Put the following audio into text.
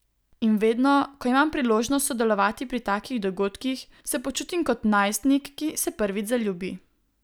In vedno, ko imam priložnost sodelovati pri takih dogodkih, se počutim kot najstnik, ki se prvič zaljubi.